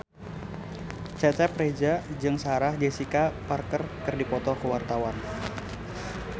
Cecep Reza jeung Sarah Jessica Parker keur dipoto ku wartawan